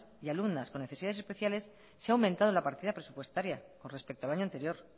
y alumnas con necesidades especiales se ha aumentado la partida presupuestaria con respecto al año anterior